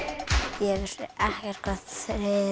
ég vissi ekkert hvað þyril